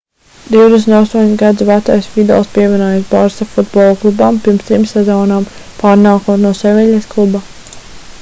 28 gadus vecais vidals pievienojās barça futbola klubam pirms trim sezonām pārnākot no seviļas kluba